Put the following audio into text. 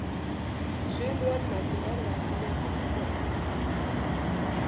Sum verðmæti verða ekki metin til fjár.